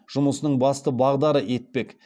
жұмысының басты бағдары етпек